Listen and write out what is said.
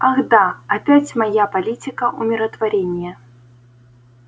ах да опять моя политика умиротворения